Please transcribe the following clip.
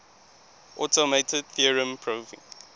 automated theorem proving